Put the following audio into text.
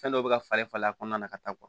Fɛn dɔw bɛ ka falen falen a kɔnɔna na ka taa